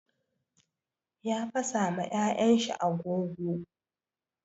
Ya fasa ma yayan shi agogo.